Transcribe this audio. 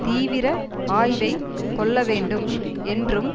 தீவிர ஆய்வைக் கொள்ள வேண்டும் என்றும்